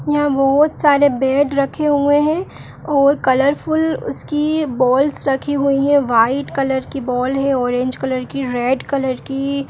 यहां बहोत सारे बैट रखे हुए हैं और कलर फूल उसकी बालिस रखी हुई हैं। व्हाइट कलर की बाल है ऑरेंज कलर की रेड कलर की।